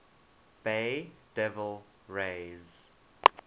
bay devil rays